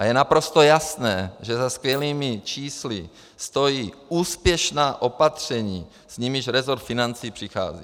A je naprosto jasné, že za skvělými čísly stojí úspěšná opatření, s nimiž resort financí přichází.